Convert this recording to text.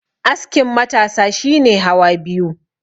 askin matasa shi ne hawa biyu